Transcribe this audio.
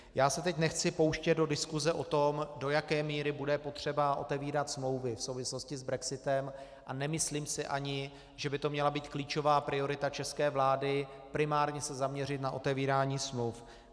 Já se teď nechci pouštět do diskuse o tom, do jaké míry bude potřeba otevírat smlouvy v souvislosti s brexitem, a nemyslím si ani, že by to měla být klíčová priorita české vlády primárně se zaměřit na otevírání smluv.